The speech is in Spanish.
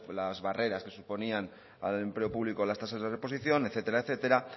las barreras que suponían al empleo público las tasas de reposición etcétera etcétera